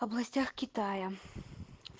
областях китая